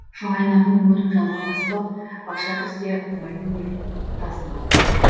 шоңайнаның мөрін жалға басып ап бақша кірсе қумайтын ел тасын ап